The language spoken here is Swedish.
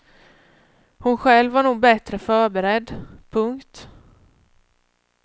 Hon själv var nog bättre förberedd. punkt